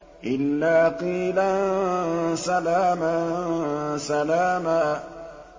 إِلَّا قِيلًا سَلَامًا سَلَامًا